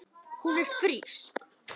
Og hún er frísk.